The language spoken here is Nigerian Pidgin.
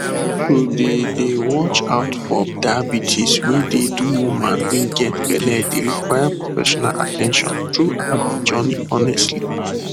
to dey dey watch out for diabetes wey dey do woman wey get belle dey require professional at ten tion throughout de journey honestly